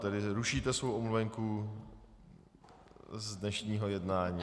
Tedy rušíte svou omluvenku z dnešního jednání?